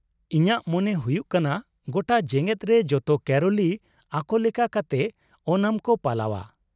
ᱤᱧᱟᱹᱜ ᱢᱚᱱᱮ ᱦᱩᱭᱩᱜ ᱠᱟᱱᱟ ᱜᱚᱴᱟ ᱡᱮᱜᱮᱫ ᱨᱮ ᱡᱚᱛᱚ ᱠᱮᱨᱚᱞᱤ ᱟᱠᱚ ᱞᱮᱠᱟ ᱠᱟᱛᱮ ᱳᱱᱟᱢ ᱠᱚ ᱯᱟᱞᱟᱣᱼᱟ ᱾